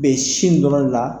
Bɛ sin dɔrɔn de la.